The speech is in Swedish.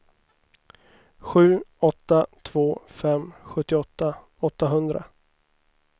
sju åtta två fem sjuttioåtta åttahundra